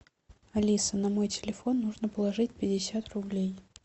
алиса на мой телефон нужно положить пятьдесят рублей